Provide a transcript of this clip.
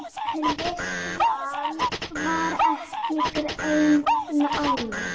Klisjan var ekki greind nánar.